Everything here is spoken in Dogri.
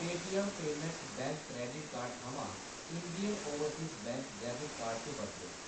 Paytm payments bank credit card थमां Indian overseas bank debit card च बदलो।